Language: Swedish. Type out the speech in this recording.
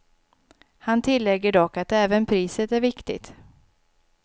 Han tillägger dock att även priset är viktigt.